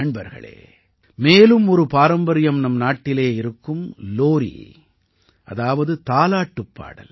நண்பர்களே மேலும் ஒரு பாரம்பரியம் நம் நாட்டிலே இருக்கும் லோரீ அதாவது தாலாட்டுப் பாடல்